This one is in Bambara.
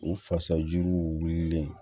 U fasajuruw wililen